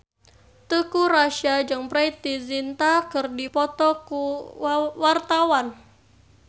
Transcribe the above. Teuku Rassya jeung Preity Zinta keur dipoto ku wartawan